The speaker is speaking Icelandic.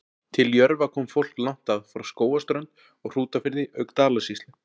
Til Jörfa kom fólk langt að, frá Skógarströnd og Hrútafirði auk Dalasýslu.